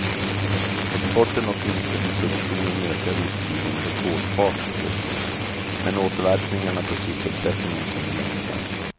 Exporten och industriproduktionen ökar visserligen med rekordfart just nu, men återverkningarna på sysselsättningen kommer långsamt.